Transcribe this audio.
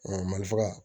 mali faga